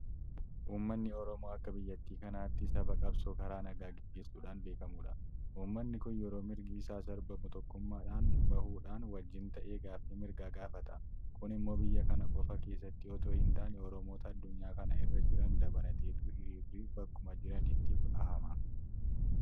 Uummanni Oromaa akka biyya kanaatti saba qabsoo karaa nagaa gaggeessuudhaan beekamudha. Uummanni kun yeroo mirgi isaa sarbamu tokkummaadhaan bahuudhaan wajjin ta'ee gaaffii mirgaa gaafata. Kun immoo buyya kana qofa keessatti itoo hintaane Oromoota addunyaa kana irra jiran dabalateetu hiriirri bakkuma jiranitti bahama.